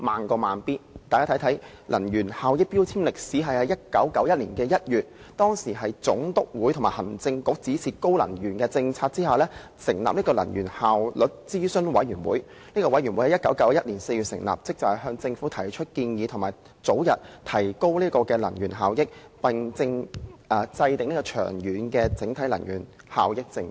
關乎能源標籤的歷史，早於1991年2月，當時的總督會同行政局指示制訂提高能源效益的政策，並成立能源效率諮詢委員會，該委員會在1991年4月成立，職責是向政府提出建議，早日提高能源效益，並制訂長遠的整體能源效益政策。